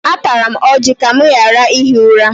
Atara m ọjị ka m ghara ihi ụra.